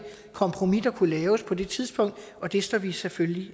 kompromis der kunne laves på det tidspunkt og det står vi selvfølgelig